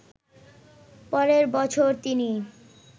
পরের বছর তিনি